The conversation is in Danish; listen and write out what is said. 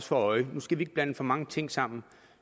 for øje nu skal vi ikke blande for mange ting sammen